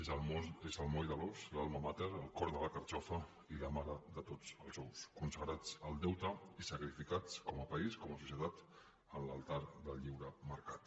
és el moll de l’os l’alma mater el cor de la carxofa i la mare de tots els ous consagrats al deute i sacrificats com a país com a societat en l’altar del lliure mercat